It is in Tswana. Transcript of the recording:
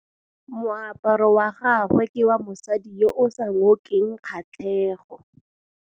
Moaparô wa gagwe ke wa mosadi yo o sa ngôkeng kgatlhegô.